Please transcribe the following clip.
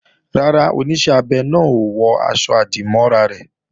Rárá, Oníṣẹ́ abẹ náà ò wọ aṣọ-àdìmọ́ra rẹ̀